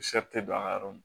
don an ka yɔrɔ min